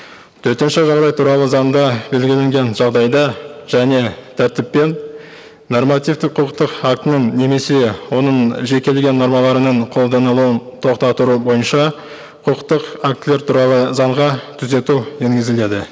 төтенше жағдай туралы заңда белгіленген жағдайда және тәртіп пен нормативтік құқықтық актінің немесе оның жекелеген нормаларының қолданылуын тоқтау бойынша құқықтық актілер туралы заңға түзету енгізіледі